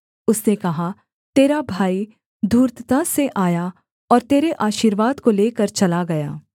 उसने कहा तेरा भाई धूर्तता से आया और तेरे आशीर्वाद को लेकर चला गया